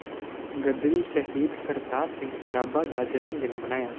ਗ਼ਦਰੀ ਸ਼ਹੀਦ ਕਰਤਾਰ ਸਿੰਘ ਸਰਾਭਾ ਦਾ ਜਨਮ ਦਿਨ ਮਨਾਇਆ